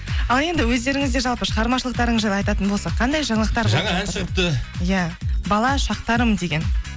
ал енді өздеріңізде жалпы шығармашылықтарыңыз жайлы айтатын болсақ қандай жаңалықтар жаңа ән шығыпты иә бала шақтарым деген